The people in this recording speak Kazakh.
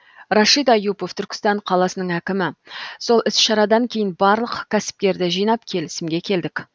рашид аюпов түркістан қаласының әкімі сол іс шарадан кейін барлық кәсіпкерді жинап келісімге келдік